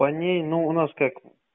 по ней ну у нас как